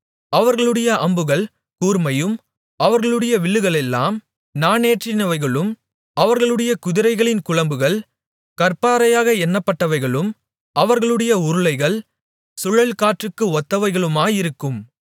அவர்களுடைய அம்புகள் கூர்மையும் அவர்களுடைய வில்லுகளெல்லாம் நாணேற்றினவைகளும் அவர்களுடைய குதிரைகளின் குளம்புகள் கற்பாறையாக எண்ணப்பட்டவைகளும் அவர்களுடைய உருளைகள் சுழல்காற்றுக்கு ஒத்தவைகளுமாயிருக்கும்